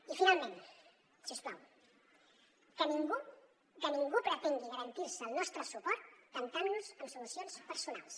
i finalment si us plau que ningú que ningú pretengui garantir se el nostre suport temptant nos amb solucions personals